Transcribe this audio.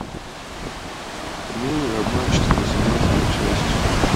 милые обманщицы восемнадцатая часть